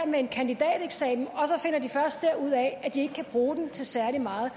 med en kandidateksamen og ud af at de ikke kan bruge den til særlig meget